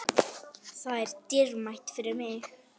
Það er dýrmætt fyrir mig.